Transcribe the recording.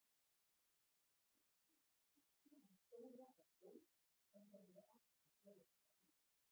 Lyktin úr pípunni hans Dóra var góð en þeir voru alltaf að lofta út.